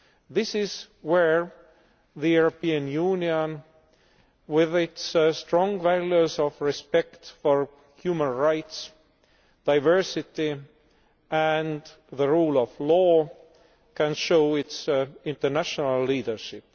This is where the European Union, with its strong values of respect for human rights, diversity and the rule of law, can show its international leadership.